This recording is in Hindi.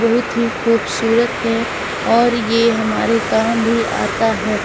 कुछ खूबसूरत है और ये हमारे काम भी आता है।